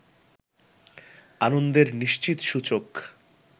আনন্দের নিশ্চিত সূচক